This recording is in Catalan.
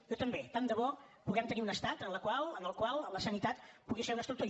jo també tant de bo puguem tenir un estat en el qual la sanitat pugui ser una estructura